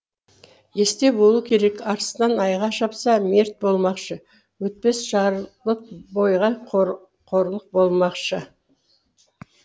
есте болу керек арыстан айға шапса мерт болмақшы өтпес жарлық бойға қорлық болмақшы